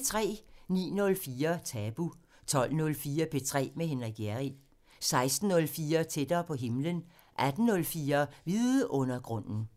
09:04: Tabu 12:04: P3 med Frederik Hjerrild 16:04: Tættere på himlen 18:04: Vidundergrunden